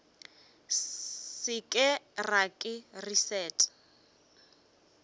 se ke ra le leset